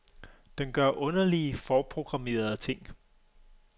Den gør underlige, forprogrammerede ting.